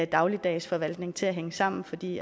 dagligdags forvaltning til at hænge sammen fordi